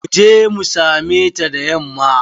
Mu je mu same ta da yamma.